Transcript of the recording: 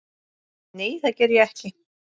Nei, það geri ég ekki.